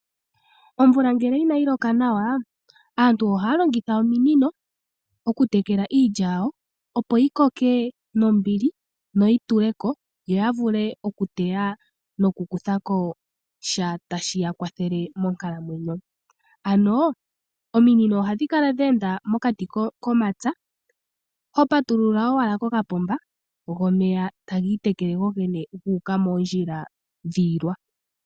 Omvula ngele inayi loka nawa, aantu ohaya longitha ominino. Okutekela iilya yawo, yi koke nombili noyi yituleko. Ohaya vulu okuteya, osho wo okukutha ko sha tashi kwathele monkalamwenyo. Ominino ohadhi kala dha enda mokati komapya, ohashi pumbwa omunamapya a patulule opomba, go omeya taga yi moondjila yiilwa.